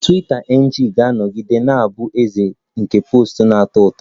Twiita NG ga-anọgide na-abụ eze nke posts na-atọ ụtọ